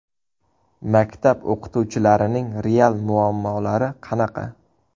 Maktab o‘qituvchilarining real muammolari qanaqa?